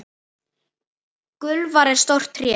Gulfura er stórt tré.